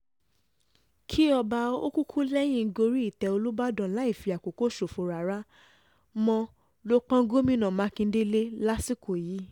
kí ọba okukulẹ́hìn gorí ìtẹ́ olùbàdàn láì fi àkókò ṣòfò rárá mo lọ pọ́n gómìnà mákindè lé lásìkò yìí